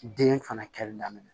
Den fana kɛli daminɛ